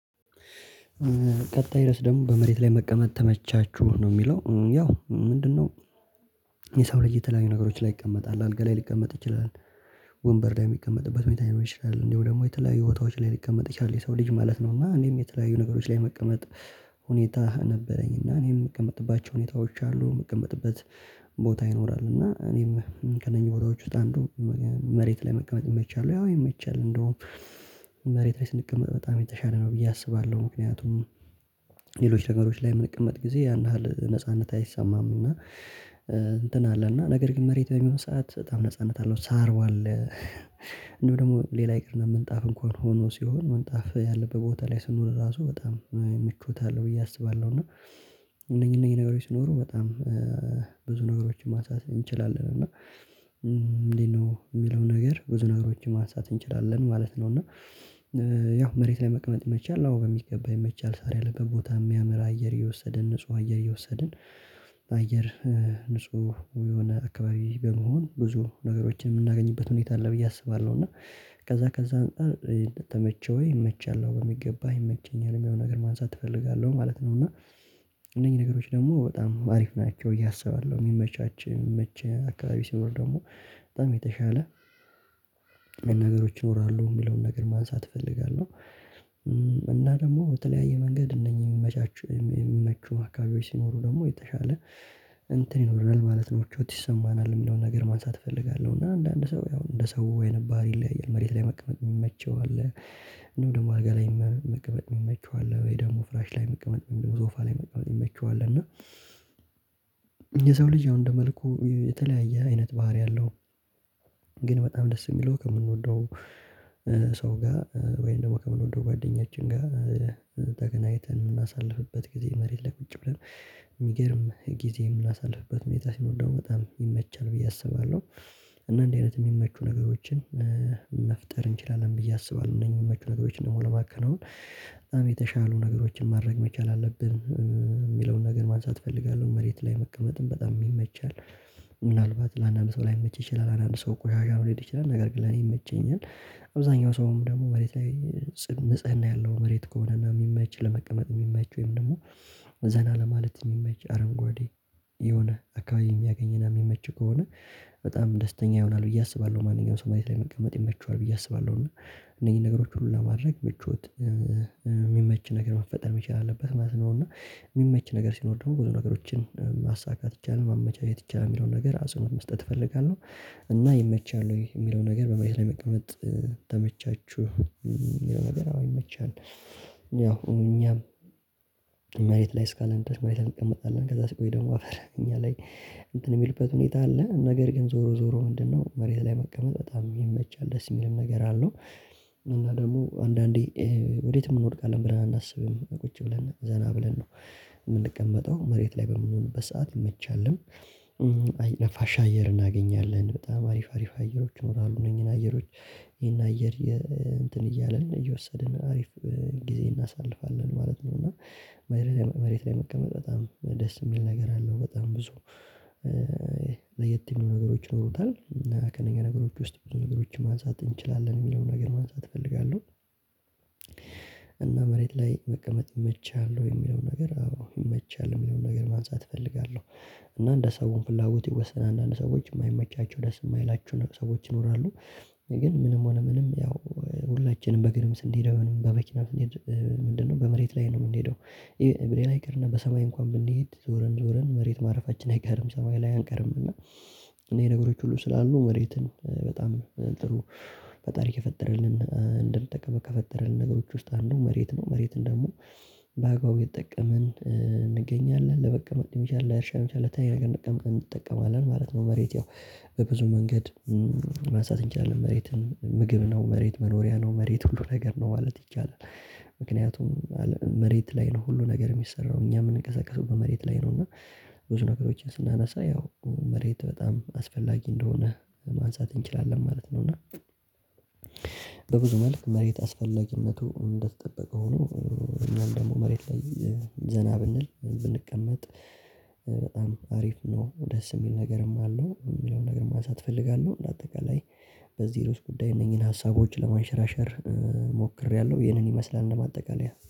"ቀጣይ ርዕስ ደግሞ በመሬት ላይ መቀመጥ ተመቻችሁ?" ነው የሚለው። ያው ምንድነው የሰው ልጅ የተለያዩ ነገሮች ላይ ይቀመጣል። አልጋ ላይ ሊቀመጥ ይችላል፣ ወንበር ላይ የሚቀመጥበት ሁኔታ ሊኖር ይችላል፣ እንዲሁም ደግሞ የተለያዩ ቦታዎች ላይ ሊቀመጥ ይችላል የሰው ልጅ ማለት ነው፤ እና እኔም የተለያዩ ነገሮች ላይ መቀመጥ ሁኔታ ነበረኝና እኔም የምቀመጥባቸው ሁኔታዎች አሉ። የምቀመጥበት ቦታ ይኖራል እና እኔም ከእነኚህ ቦታዎች ውስጥ አንዱ "መሬት ላይ መቀመጥ ይመቻል ወይ?" አዎ ይመቻል። እንደውም መሬት ላይ ስንቀመጥ በጣም የተሻለ ነው ብዬ አስባለሁ። ምክንያቱም ሌሎች ነገሮች ላይ ምንቀመጥ ጊዜ ያን ያህል ነጻነት አይሰማም፤ እና እንትን አለ እና ነገር ግን መሬት በሚሆን ሰዓት በጣም ነጻነት አለው ሳሩ አለ እንዲሁም ደግሞ ሌላ ይቅር እና ምንጣፍ እንኳን ሆኖ ሲሆን ምንጣፍ ያለበት ቦታ ላይ ስንሆን ራሱ በጣም ምቾት አለው ብዬ አስባለሁ፤ እና እነኚህ እነኚህ ነገሮች ሲኖሩ በጣም ብዙ ነገሮችን ማንሳት እንችላለን እና እንዴት ነው የሚለውን ነገር ብዙ ነገሮችን ማንሳት እንችላለን ማለት ነው እና ያው "መሬት ላይ መቅመጥ ይመቻል?" አዎ በሚገባ ይመቻል። ሳር ያለበት ቦታ ይመ ያምር አየር እየወሰድን ንጹህ አየር እየወሰድን አየር ንጹህ የሆነ አካባቢ በመሆን ብዙ ነገሮችን የምናገኝበት ሁኔታ አለ ብዬ አስባለሁ፤ እና ከዛ ከዛ አንፃር "ተመቸህ ወይ?" ይመቻል አዎ በሚገባ ይመቸኛል የሚለውን ነገር ማንሳት እፈልጋለሁ ማለት ነው፤ እና እነኚህ ነገሮች ደግሞ በጣም አሪፍ ናቸው ብዬ አስባለሁ የሚመቻች ሚመች አካባቢ ሲኖር ደግሞ በጣም የተሻለ ነገሮች ይኖራሉ የሚለውን ነገር ማንሳት እፈልጋለሁ፤ እና ደግሞ በተለያየ መንገድ እነኚህ የሚመቻቹ የሚመቹ አካባቢዎች ሲኖሩ ደግሞ የተሻለ እንትን ይኖረናል ማለት ነው ምቾት ይሰማናል የሚለውን ነገር ማንሳት እፈልጋለሁ እና አንዳንድ ሰው ያው እንደ ሰው ወይን ባህሪ ይለያያል። መሬት ላይ መቀመጥ የሚመቸው አለ። እንዲሁም ደግሞ አልጋ ላይ መቀመጥ የሚመቸው አለ፤ ወይ ደግሞ ፍራሽ ላይ መቅመጥ የሚመ ሶፋ ላይ መቀመጥ የሚመቸው አለ እና የሰው ልጅ ያው እንደ መልኩ የተለያየ አይነት ባህሪ አለው። ግን በጣም ደስ የሚለው ከምንወደው ሰው ጋር ወይም ደግሞ ከምንወደው ጓደኛችን ጋር ተገናኝተን የምናሳልፍበት ጊዜ መሬት ላይ ቁጭ ብለን የሚገርም ጊዜ የምናሳልፍበት ሁኔታ ሲኖር ደግሞ በጣም ይመቻል ብዬ አስባለሁ፤ እና እንደዚህ አይነት የሚመቹ ነገሮችን መፍጠር እንችላለን ብዬ አስባለሁ። እነኚህ የሚመቹ ነገሮች ደግሞ ለማከናወን በጣም የተሻሉ ነገሮችን ማድረግ መቻል አለብን የሚለውን ነገር ማንሳት እፈልጋለሁ። መሬት ላይ መቀመጥም በጣም ይመቻል። ምናልባት ለአንዳንድ ሰው ላይመች ይችላል አንዳንድ ሰው ቆሻሻ ሊሄድ ይችላል፤ ነገር ግን ለኔ ይመቸኛል። አብዛኛው ሰውም ደግሞ መሬት ላይ ጽን ንፅህን ያለው መሬት ከሆነ እና የሚመች ለመቀመጥ የሚመች ወይም ደግሞ ዘና ለማለት የሚመች አረንጓዴ የሆነ አካባቢ የሚያገኝና የሚመች ከሆነ በጣም ደስተኛ ይሆናል ብዬ አስባለሁ ማንኛውም ሰው መሬት ላይ መቀመጥ ይመቸዋል ብዬ አስባለሁ፤ እና እነኚህን ነገሮች ሁሉ ለማድረግ ምቾት የሚመች ነገር መፈጠር መቻል አለበት ማለት ነው፤ እና የሚመች ነገር ሲኖር ደግሞ ብዙ ነገሮችን ማሳካት ይቻላል ማመቻት ይቻላል የሚለውን ነገር አጽንኦት መስጠት እፈልጋለሁ፤ እና "ይመቻል ወይ?" የሚለው ነገር በመሬት ላይ መቀመጥ ተመቻችሁ የሚለው ነገር አዎ ይመቻል። ያው እኛም መሬት ላይ እስካለን ድረስ መሬት ላይ እንቀመጣለን ከዛ ሲቆይ ደግሞ አፈር እኛ ላይ እንትን የሚልበት ሁኔታ አለ፤ ነገር ግን ዞሮ ዞሮ ምንድነው መሬት ላይ መቀመጥ በጣም ይመቻል ደስ የሚልም ነገር አለው፤ እና ደግሞ አንዳንዴ ወዴትም እንወድቃለን ብለን አናስብም። ቁጭ ብለን ዘና ብለን ነው የምንቀመጠው መሬት ላይ በምንሆንበት ሰዓት ይመቻልም። ነፋሻ አየር እናገኛለን በጣም አሪፍ አሪፍ አየሮች ይኖራሉ እነኚህን አየሮች ይሄን አየር እንትን እያልን እየወሰድን አሪፍ ጊዜ እናሳልፋለን ማለት ነው፤ እና መሬት ላይ መሬት ላይ መቀመጥ በጣም ደስ የሚል ነገር አለው በጣም ብዙ ለየት የሚሉ ነገሮች ይኖሩታል፤ እና ከእነኛ ነገሮች ውስጥ ብዙ ነገሮችን ማንሳት እንችላለን የሚለውን ነገር ማንሳት እፈልጋለሁ። እና "መሬት ላይ መቀመጥ ይመችሃል ወይ?" የሚለውን ነገር አዎ ይመቻል የሚለውን ነገር ማንሳት እፈልጋለሁ፤ እና እንደ ሰው ፍላጎት ይወሰናል አንዳንድ ሰዎች የማይመቻቸው ደስ የማይላቸው ሰዎች ይኖራሉ፤ ግን ምንም ሆነ ምንም ያው ሁላችንም በግርም ስንሄድ ወይንም በመኪና ስንሄድ ምንድነው በመሬት ላይ ነው የምንሄደው ብለን አይቀርና በሰማይ እንኳን ብንሄድ ዞረን ዞረን መሬት ማረፋችን አይቀርም ሰማይ ላይ አንቀርም እና እነኚህ ነገሮች ሁሉ ስላሉ መሬትን በጣም ጥሩ ፈጣሪ ከፈጠረልን እንድንጠቀመው ከፈጠረልን ነገሮች ውስጥ አንዱ መሬት ነው። መሬትን ደግሞ በአግባቡ እየተጠቀምን እንገኛለን። ለመቀመጥ ሊሆን ይችላል፣ ለአርሻ ሊሆን ይችላል ለተለያየ ነገር እንጠቀም እንጠቀማለን ማለት ነው መሬት ያው በብዙ መንገድ ማንሳት እንችላለን መሬትን ምግብ ነው፣ መሬት መኖሪያ ነው፣ መሬት ሁሉ ነገር ነው ማለት ይቻላል። ምክንያቱም መሬት ላይ ነው ሁሉ ነገር የሚሰራው። እኛም ምንንቀሳቀሰው በመሬት ላይ ነው እና ብዙ ነገሮችን ስናነሳ ያው መሬት በጣም አስፈላጊ እንደሆነ ማንሳት እንችላለን ማለት ነው፤ እና በብዙ መልክ መሬት አስፈላጊነቱ እንደተጠበቀ ሆኖ እኛም ደግሞ መሬት ላይ ዘና ብንል፣ ብንቀመጥ በጣም አሪፍ ነው ደስ የሚል ነገርም አለው የሚለውን ነገር ማንሳት እፈልጋለሁ። እንዳጠቃላይ በዚህ ርዕስ ጉዳይ እነኚህን ሀሳቦች ለማንሸራሸር ሞክሬያለሁ ይሄንን ይመስላል እንደ ማጠቃለያ።